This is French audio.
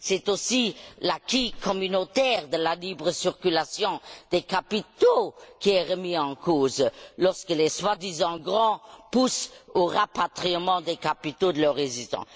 C'est aussi l'acquis communautaire de la libre circulation des capitaux qui est remis en cause, lorsque les soi disant grands poussent au rapatriement des capitaux de leurs résidents.